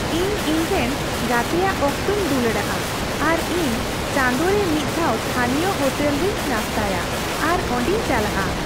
ᱤᱧ ᱤᱧᱨᱮᱱ ᱜᱟᱛᱮᱭᱟ ᱚᱠᱛᱚᱧ ᱫᱩᱞᱟᱹᱲᱟᱜᱼᱟ ᱟᱨ ᱤᱧ ᱪᱟᱸᱫᱳ ᱨᱮ ᱢᱤᱫᱼᱫᱷᱟᱣ ᱛᱷᱟᱹᱱᱤᱭᱚ ᱦᱳᱴᱮᱞ ᱨᱤᱧ ᱱᱟᱥᱛᱟᱭᱟ ᱟᱨ ᱚᱸᱰᱮᱧ ᱪᱟᱞᱟᱜᱼᱟ ᱾